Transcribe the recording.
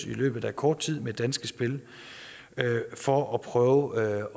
i løbet af kort tid med danske spil for at prøve